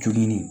Jogin